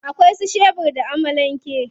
Akwai su shebur da amalan ke.